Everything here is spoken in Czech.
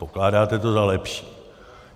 Pokládáte to za lepší.